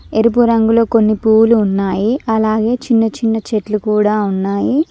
ఎరుపు రంగులో కొన్ని పూలు ఉన్నాయి అలాగే చిన్న చిన్న చెట్లు కూడా ఉన్నాయి.